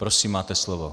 Prosím, máte slovo.